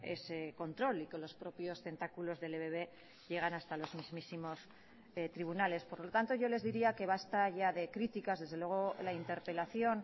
ese control y que los propios tentáculos del ebb llegan hasta los mismísimos tribunales por lo tanto yo les diría que basta ya de críticas desde luego la interpelación